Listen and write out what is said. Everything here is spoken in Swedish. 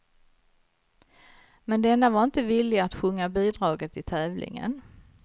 Men denne var inte villig att sjunga bidraget i tävlingen.